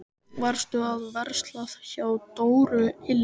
Varstu að versla hjá Dóru ilm?